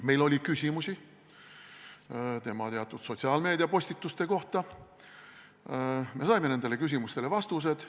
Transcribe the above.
Meil oli küsimusi mõnede tema sotsiaalmeedia postituste kohta, me saime nendele küsimustele vastused.